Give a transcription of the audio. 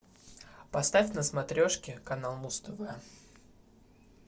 поставь на смотрешке канал муз тв